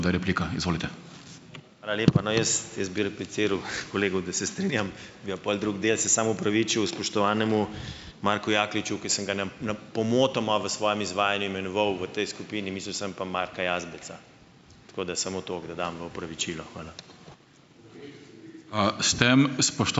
Hvala lepa. No, jaz, bi repliciral kolegu, da se strinjam. Bil pol drug del, se samo opravičil spoštovanemu Marku Jakliču, ki sem ga pomotoma v svojem izvajanju imenoval v tej skupini. Mislil sem pa Marka Jazbeca. Tako da samo toliko, da dam v opravičilo. Hvala.